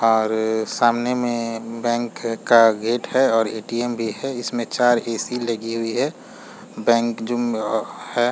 और सामने में बैंक का गेट है और ए.टी.एम भी इसमें चार्ज की स्पीड लगी हुई है बैंक जो है।